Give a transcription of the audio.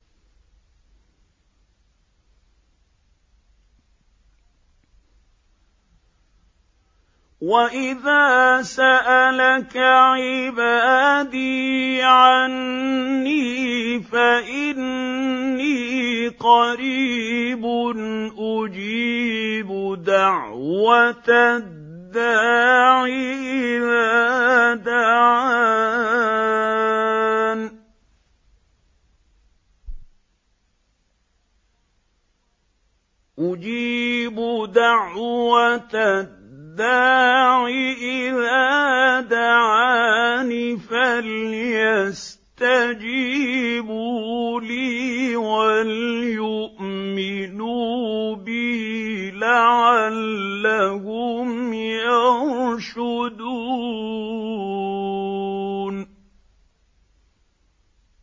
وَإِذَا سَأَلَكَ عِبَادِي عَنِّي فَإِنِّي قَرِيبٌ ۖ أُجِيبُ دَعْوَةَ الدَّاعِ إِذَا دَعَانِ ۖ فَلْيَسْتَجِيبُوا لِي وَلْيُؤْمِنُوا بِي لَعَلَّهُمْ يَرْشُدُونَ